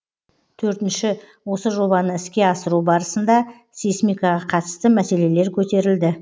төртінші осы жобаны іске асыру барысында сейсмикаға қатысты мәселелер көтерілді